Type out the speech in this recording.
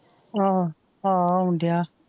ਆ ਆਹ ਆਉਣਡਿਆ,